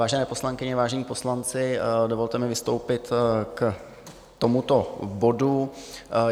Vážené poslankyně, vážení poslanci, dovolte mi vystoupit k tomuto bodu.